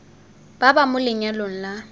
ba ba mo lenyalong la